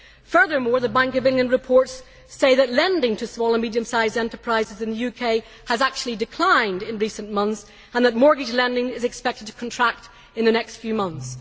Furthermore, the Bank of England reports say that lending to small and medium sized enterprises in the UK has actually declined in recent months and that mortgage lending is expected to contract in the next few months.